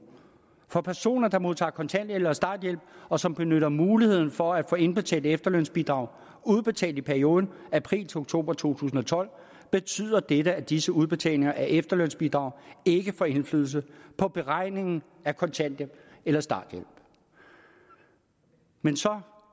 for personer der modtager kontanthjælp eller starthjælp og som benytter muligheden for at få indbetalte efterlønsbidrag udbetalt i perioden april til oktober to tusind og tolv betyder det at disse udbetalinger af efterlønsbidrag ikke får indflydelse på beregningen af kontanthjælp eller starthjælp men så